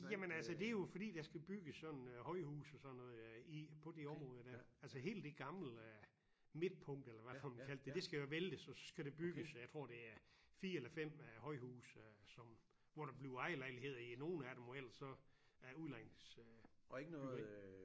Jamen altså det jo fordi der skal bygges sådan øh højhuse og sådan noget der i på det område der altså hele det gamle øh midtpunkt eller hvad fanden man kaldte det det skal jo væltes og så skal det bygges og jeg tror det er 4 eller 5 øh højhuse øh som hvor der bliver ejerlejligheder i nogle af dem og ellers så er udlejningsbyggeri